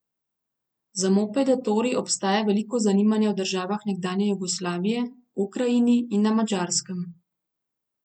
Za mopede Tori obstaja veliko zanimanja v državah nekdanje Jugoslavije, Ukrajini in na Madžarskem.